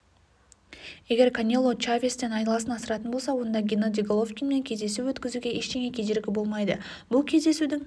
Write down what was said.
егер канело чавестен айласын асыратын болса онда геннадий головкинмен кездесу өткізуге ештеңе кедергі болмайды бұл кездесудің